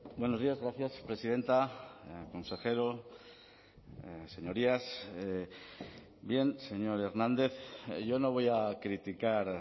buenos días gracias presidenta consejero señorías bien señor hernández yo no voy a criticar